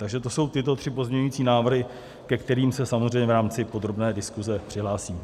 Takže to jsou tyto tři pozměňující návrhy, ke kterým se samozřejmě v rámci podrobné diskuse přihlásím.